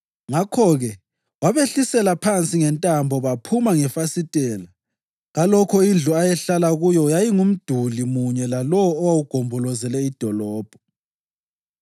Ngakho-ke wabehlisela phansi ngentambo baphuma ngefasitela kalokho indlu ayehlala kuyo yayingumduli munye lalowo owawugombolozele idolobho.